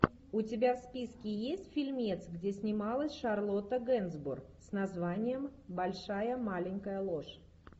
у тебя в списке есть фильмец где снималась шарлотта генсбур с названием большая маленькая ложь